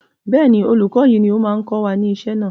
bẹ́ẹ̀ni, olùkọ́ yìí ni ó máa ń kọ́ mi ní isẹ́ náà